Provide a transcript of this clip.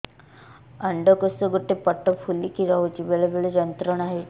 ଅଣ୍ଡକୋଷ ଗୋଟେ ପଟ ଫୁଲିକି ରହଛି ବେଳେ ବେଳେ ଯନ୍ତ୍ରଣା ହେଉଛି